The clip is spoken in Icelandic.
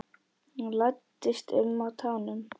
Læddist um á tánum.